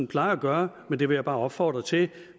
plejer at gøre men det vil jeg bare opfordre til